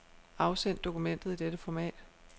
Afsend dokumentet i dette format.